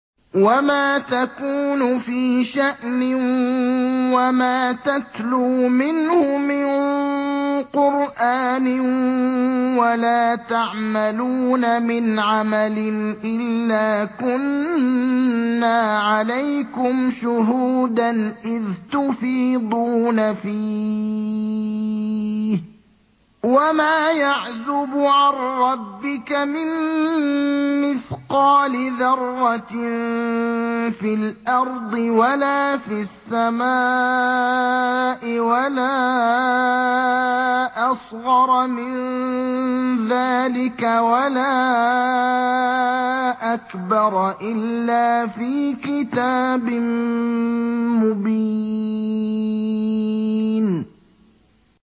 وَمَا تَكُونُ فِي شَأْنٍ وَمَا تَتْلُو مِنْهُ مِن قُرْآنٍ وَلَا تَعْمَلُونَ مِنْ عَمَلٍ إِلَّا كُنَّا عَلَيْكُمْ شُهُودًا إِذْ تُفِيضُونَ فِيهِ ۚ وَمَا يَعْزُبُ عَن رَّبِّكَ مِن مِّثْقَالِ ذَرَّةٍ فِي الْأَرْضِ وَلَا فِي السَّمَاءِ وَلَا أَصْغَرَ مِن ذَٰلِكَ وَلَا أَكْبَرَ إِلَّا فِي كِتَابٍ مُّبِينٍ